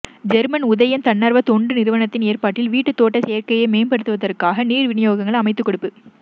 German Udayam தன்னார்வ தொண்டு நிறுவனத்தின் ஏற்பாட்டில் வீட்டுத் தோட்ட செய்கையை மேம்பாடுத்துவதற்கான நீர் விநியோகங்கள் அமைத்துக் கொடுப்பு